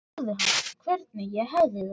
Svo spurði hann hvernig ég hefði það.